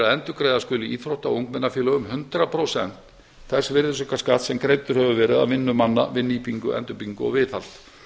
endurgreiða skuli íþrótta og ungmennafélögum hundrað prósent þess virðisaukaskatts sem greiddur hefur verið af vinnu manna við nýtingu endurbyggingu og viðhald